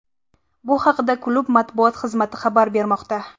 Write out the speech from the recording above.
Bu haqida klub matbuot xizmati xabar bermoqda .